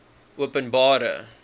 openbare